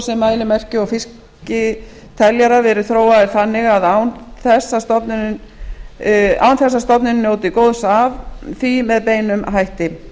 sem mælimerki og fiskteljarar verið þróaður þannig án þess að stofnunin njóti góðs af því með beinum hætti